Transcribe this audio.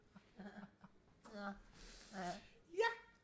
nå ja ja